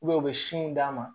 u bɛ sinw d'a ma